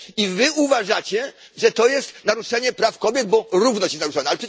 I wy uważacie, że to jest naruszenie praw kobiet, bo równość się narusza.